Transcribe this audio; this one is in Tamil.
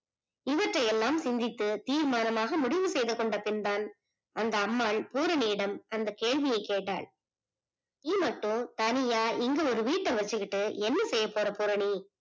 இவற்றை எல்லாம் சிந்தித்து தீர்மானமாக முடிவு செய்தகொண்டப்பின் தான் அந்த அம்மாள் பூரணியிடம் அந்த கேள்வியே கேட்டார். நீ மட்டும் தனியா இங்க ஒரு வீட்ட வச்சிக்கிட்டு என்ன செய்ய போற டி